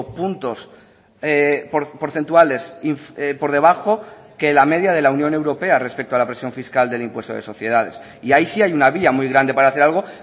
puntos porcentuales por debajo que la media de la unión europea respecto a la presión fiscal del impuesto de sociedades y ahí sí hay una vía muy grande para hacer algo